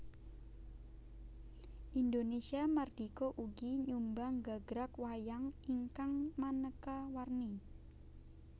Indonésia mardika ugi nyumbang gagrag wayang ingkang manéka warni